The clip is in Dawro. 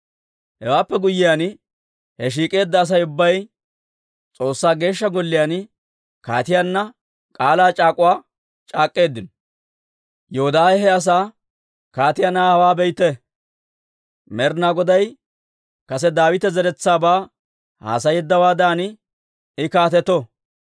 Hewaappe guyyiyaan, he shiik'eedda Asay ubbay S'oossaa Geeshsha Golliyaan kaatiyaanna k'aalaa c'aak'uwaa c'aak'k'eeddino. Yoodaahe he asaa, «Kaatiyaa na'aa hawaa be'ite! Med'inaa Goday kase Daawita zeretsaabaa haasayeeddawaadan I kaateto.